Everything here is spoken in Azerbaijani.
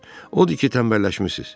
Odur ki, tənbəlləşmisiz.